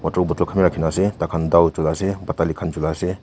traw bottle kan be rakina ase taikan tao culai ase batali kan chulai ase.